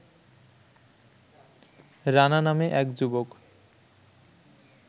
রানা নামে এক যুবক